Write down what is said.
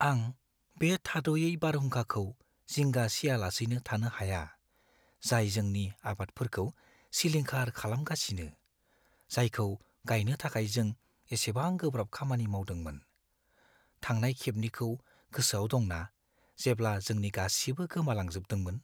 आं बे थाद'यै बारहुंखाखौ जिंगा सियालासैनो थानो हाया, जाय जोंनि आबादफोरखौ सिलिंखार खालामगासिनो, जायखौ गायनो थाखाय जों एसेबां गोब्राब खामानि मावदोंमोन! थांनाय खेबनिखौ गोसोआव दंना जेब्ला जोंनि गासिबो गोमालांजोबदोंमोन?